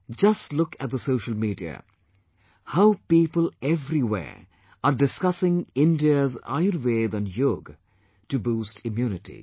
Just look at the social media... how people everywhere are discussing India's Ayurveda and Yoga to boost immunity